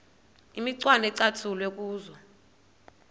imicwana ecatshulwe kuzo